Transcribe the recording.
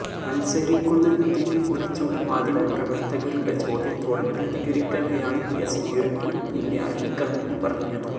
മല്സരിക്കുന്നതിനെക്കുറിച്ചുള്ള മാധ്യമപ്രവര്ത്തകരുടെ ചോദ്യത്തോട് പ്രതികരിക്കവെയാണ് വിഎസ് തീരുമാനം പിന്നെ അറിയിക്കാമെന്ന് പറഞ്ഞത്